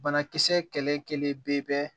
Banakisɛ kɛlɛ bɛ